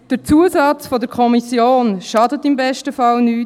Der Zusatz der Kommission schadet im besten Fall nichts.